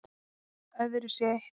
Öðru sé eytt